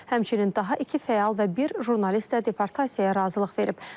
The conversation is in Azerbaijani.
Həmçinin daha iki fəal və bir jurnalist də deportasiyaya razılıq verib.